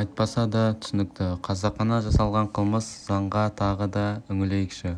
айтпаса да түсінікті қасақана жасалған қылмыс заңға тағы да үңілейікші